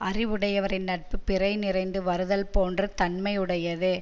அறிவுடையவரின் நட்பு பிறை நிறைந்து வருதல் போன்ற தன்மையுடையது